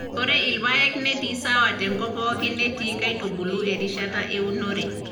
Ore irpaek netii sawa te enkop pooki netii nkaitubulu erishata eunore.